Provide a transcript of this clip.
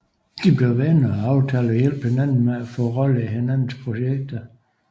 De blev venner og aftalte at hjælpe hinanden med at få roller i hinandens projekter